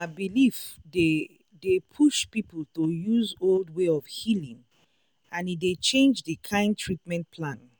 na belief dey dey push people to use old way of healing and e dey change the kind treatment plan.